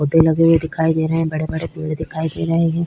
पौधे लगे हुए दिखाई दे रहे हैं। बड़े-बड़े पेड़ दिखाई दे रहे हैं।